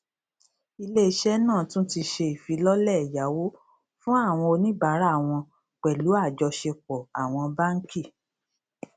ilé iṣẹ náà tún ti ṣe ìfilọlẹ ẹyáwó fún àwọn oníbárà won pèlú àjọṣepọ àwọn báńkì